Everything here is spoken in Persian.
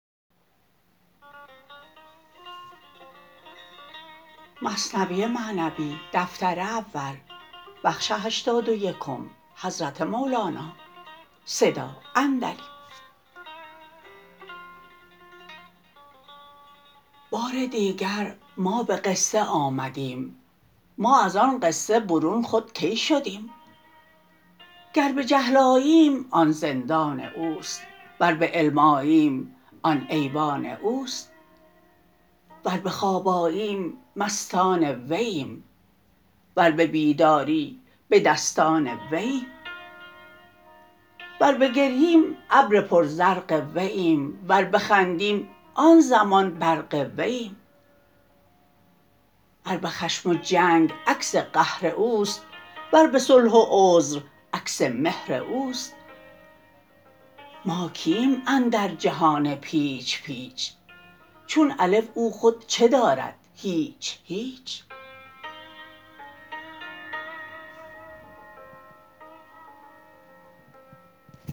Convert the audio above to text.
بار دیگر ما به قصه آمدیم ما از آن قصه برون خود کی شدیم گر به جهل آییم آن زندان اوست ور به علم آییم آن ایوان اوست ور به خواب آییم مستان وییم ور به بیداری به دستان وییم ور بگرییم ابر پر زرق وییم ور بخندیم آن زمان برق وییم ور به خشم و جنگ عکس قهر اوست ور به صلح و عذر عکس مهر اوست ما کییم اندر جهان پیچ پیچ چون الف او خود چه دارد هیچ هیچ